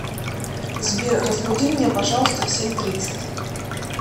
сбер разбуди меня пожалуйста в семь тридцать